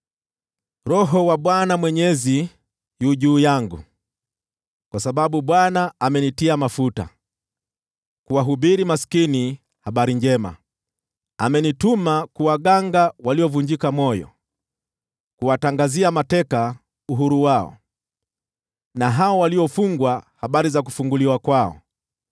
Roho wa Bwana Mwenyezi yu juu yangu, kwa sababu Bwana amenitia mafuta kuwahubiria maskini habari njema. Amenituma kuwaganga waliovunjika moyo, kuwatangazia mateka uhuru wao, na hao waliofungwa habari za kufunguliwa kwao;